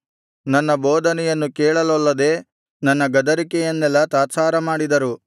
ನನ್ನ ಬೋಧನೆಯನ್ನು ಕೇಳಲೊಲ್ಲದೆ ನನ್ನ ಗದರಿಕೆಯನ್ನೆಲ್ಲಾ ತಾತ್ಸಾರಮಾಡಿದರು